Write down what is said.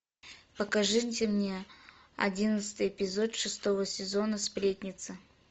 покажите мне одиннадцатый эпизод шестого сезона сплетница